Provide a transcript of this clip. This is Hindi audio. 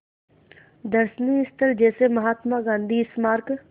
दर्शनीय स्थल जैसे महात्मा गांधी स्मारक